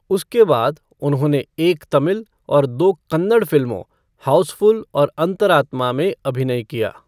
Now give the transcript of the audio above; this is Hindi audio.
उसके बाद, उन्होंने एक तमिल और दो कन्नड़ फिल्मों, हाउसफ़ुल और अंतरात्मा, में अभिनय किया।